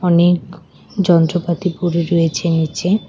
অনেক যন্ত্রপাতি পড়ে রয়েছে নীচে।